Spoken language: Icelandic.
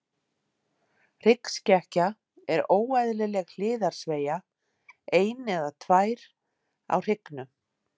Hryggskekkja er óeðlileg hliðarsveigja, ein eða tvær, á hryggnum.